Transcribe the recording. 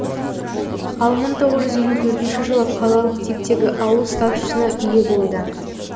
ал мың тоғыз жүз елу төртінші жылы қалалық типтегі ауыл статусына ие болды